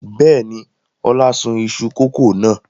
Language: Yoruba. Bẹ́ẹ̀ni, Ọlá sun iṣu kòkó náà.